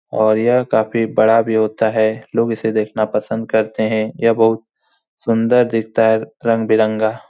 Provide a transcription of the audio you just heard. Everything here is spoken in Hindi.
और यह काफी बड़ा भी होता है। लोग इसे देखना पसंद करते हैं। यह बहुत सुंदर दिखता है रंग बिरंगा।